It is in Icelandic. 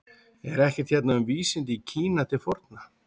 Er ekkert hérna um vísindi í Kína til forna?